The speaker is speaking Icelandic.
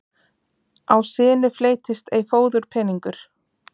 Á sinu fleytist ei fóðurpeningur.